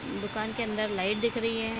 दुकान के अंदर लाइट दिख रही है।